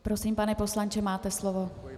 Prosím, pane poslanče, máte slovo.